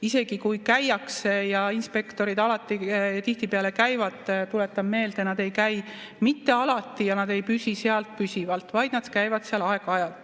Isegi kui käiakse kohal, ja inspektorid tihtipeale käivad, aga tuletan meelde, et nad ei käi mitte alati ja nad ei püsi sealt püsivalt, vaid nad käivad seal aeg-ajalt.